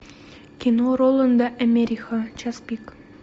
кино роланда америха час пик